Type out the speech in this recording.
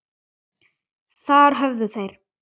Þar höfðu þeir